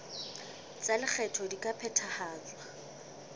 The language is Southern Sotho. tsa lekgetho di ka phethahatswa